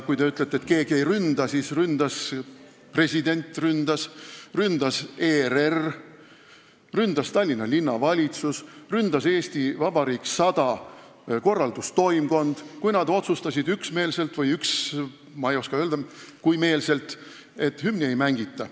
Kui te ütlete, et keegi seda ei ründa, siis ründas ju president, ründas ERR, ründas Tallinna Linnavalitsus, ründas "Eesti Vabariik 100" korraldustoimkond, kui nad üksmeelselt otsustasid – ma ei oska öelda, kui üksmeelselt –, et hümni ei mängita.